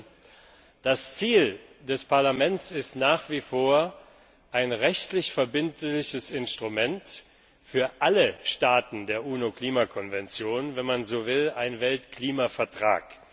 17. Das Ziel des Parlaments ist nach wie vor ein rechtlich verbindliches Instrument für alle Staaten der UNO Klimakonvention wenn man so will, ein Weltklimavertrag.